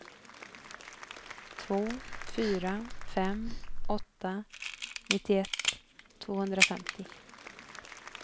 två fyra fem åtta nittioett tvåhundrafemtio